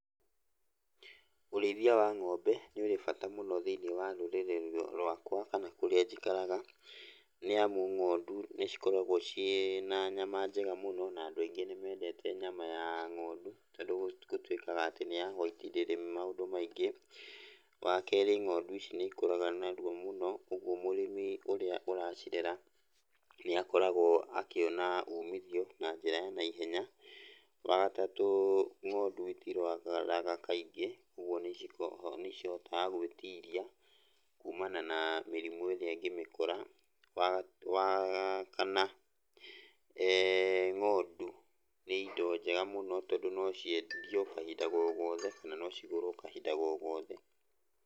Ũrĩithia wa ng'ombe nĩ ũrĩ bata mũno thĩiniĩ wa rũrĩrĩ rwakwa kana kũrĩa njikaraga, nĩamu ng'ondu nĩcikoragwo ciĩna nyama njega mũno na andũ aingĩ nĩmendete nyama ya ng'ondu, tondũ gũtuĩkaga atĩ nĩ ya whaiti, ndĩrĩ maundũ maingĩ. Wakerĩ ng'ondu ici nĩikũraga narua mũno, ũguo mũrĩmi ũrĩa ũracirera nĩakoragwo akĩona umithio na njĩra ya naihenya. Wagatatũ ng'ondu itirwaraga kaingĩ, ũguo nĩcihotaga gwĩtiria kumana na mĩrimũ ĩrĩa ĩngĩmĩkora. Wakana, ng'ondu nĩ indo njega mũno tondũ no ciendio kahinda go gothe kana cigũrwo kahinda go gothe.